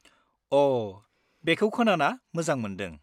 अ, बेखौ खोनाना मोजां मोन्दों।